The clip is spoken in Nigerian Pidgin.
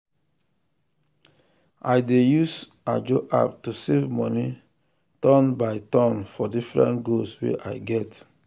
i dey use ajo app to save money turn by turn for different goals wey i get.